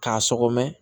K'a sɔgɔm